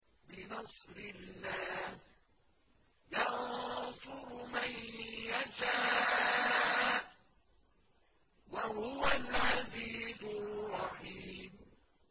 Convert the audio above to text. بِنَصْرِ اللَّهِ ۚ يَنصُرُ مَن يَشَاءُ ۖ وَهُوَ الْعَزِيزُ الرَّحِيمُ